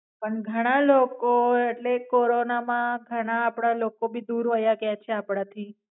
પણ ઘણા લોકો એટલે કોરોના માં ઘણા આપડા લોકો ભી દૂર વયા ગ્યા છે આપડા થી.